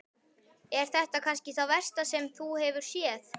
Er þetta kannski það versta sem þú hefur séð?